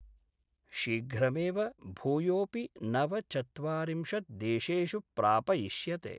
शीघ्रमेव भूयोपि नवचत्वारिंशत् देशेषु प्रापयिष्यते।